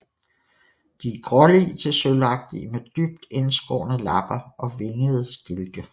De er grålige til sølvagtige med dybt indskårne lapper og vingede stilke